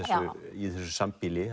í þessu sambýli